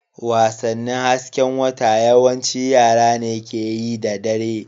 Wasannin hasken wata yawanci yara ne ke yi da dare.